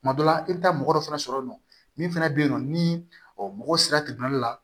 Tuma dɔ la i bɛ taa mɔgɔ dɔ fɛnɛ sɔrɔ yen nɔ min fana bɛ yen nɔ ni mɔgɔ sera la